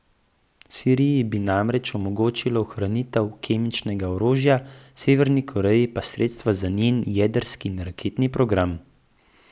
Siriji bi namreč omogočilo ohranitev kemičnega orožja, Severni Koreji pa sredstva za njen jedrski in raketni program.